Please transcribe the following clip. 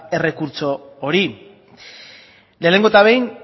errekurtso hori lehenengo eta behin